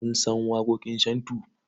Kun san waƙoƙin shantu?